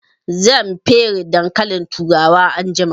Zan fere dankalin turawa anjima